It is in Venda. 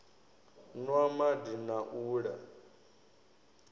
nwa madi na u la